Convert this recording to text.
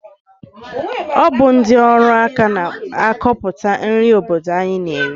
Ọ bụ ndị ọrụaka na-akọpụta nri obodo anyị na-eri?